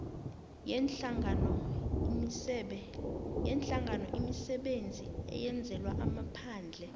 yeenhlanganoimisebenzi eyenzelwa amaphandle